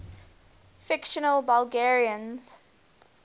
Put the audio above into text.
fictional belgians